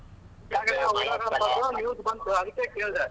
news . ಬಂತು ಅದಕ್ಕೇ ಕೇಳ್ದೇ.